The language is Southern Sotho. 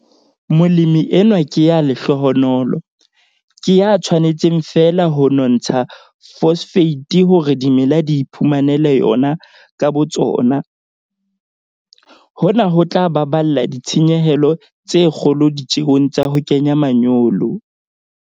Molemi enwa ke ya lehlohonolo, ke ya tshwanetseng feela ho nontsha phosphate hore dimela di iphumanele yona ka botsona. Hona ho tla baballa ditshenyehelo tse kgolo ditjeong tsa ho kenya manyolo.